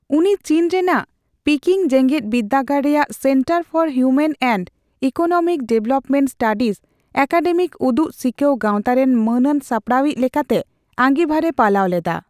ᱩᱱᱤ ᱪᱤᱱ ᱨᱮᱱᱟᱜ ᱯᱤᱠᱤᱝ ᱡᱮᱜᱮᱫᱵᱤᱫᱽᱫᱟᱹᱜᱟᱲ ᱨᱮᱭᱟᱜ centre for human and economic development studies academic ᱩᱫᱩᱜ ᱥᱤᱠᱟᱹᱣ ᱜᱟᱸᱣᱛᱟ ᱨᱮᱱ ᱢᱟᱹᱱᱟᱱ ᱥᱟᱯᱟᱲᱟᱣ ᱤᱪ ᱞᱮᱠᱟᱛᱮ ᱟᱸᱜᱤᱵᱷᱟᱨᱮ ᱯᱟᱞᱟᱣ ᱞᱮᱫᱟ ᱾